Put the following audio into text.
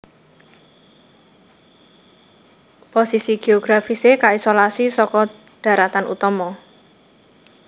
Posisi géografisé kaisolasi saka dharatan utama